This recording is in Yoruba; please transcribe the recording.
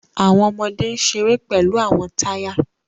Awọn ọmọde n ṣere pẹlu awọn taya